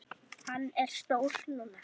Hann er stór núna.